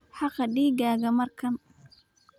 Xaaq digaagga markan.